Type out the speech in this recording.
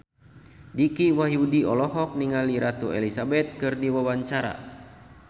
Dicky Wahyudi olohok ningali Ratu Elizabeth keur diwawancara